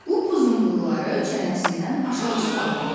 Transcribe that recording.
Upuzun bığları çənəsindən aşağı sallanırdı.